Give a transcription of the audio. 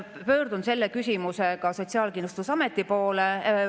Pöördun selle küsimusega Sotsiaalkindlustusameti poole.